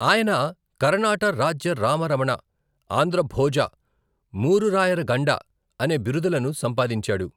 ఆయన 'కరణాట రాజ్య రామ రమణ', 'ఆంధ్ర భోజ', 'మూరు రాయర గండ' అనే బిరుదులను సంపాదించాడు.